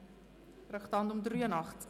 – Das ist nicht der Fall.